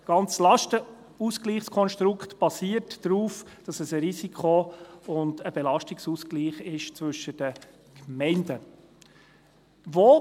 Das ganze Lastenausgleichskonstrukt basiert darauf, dass es ein Risiko- und ein Belastungsausgleich zwischen den Gemeinden ist.